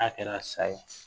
A kɛra sa ye